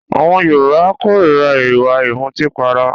Àwọn Yorùbá kórira ìwà ìmutípara